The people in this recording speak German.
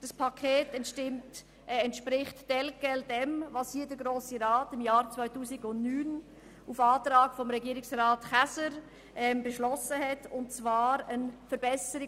Es entspricht inhaltlich exakt dem, was Regierungsrat Käser und die Regierung im Jahr 2009 vorgeschlagen haben und vom Grossen Rat damals verabschiedet wurde.